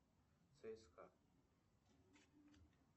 цска